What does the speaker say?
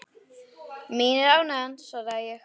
Mín er ánægjan svaraði ég.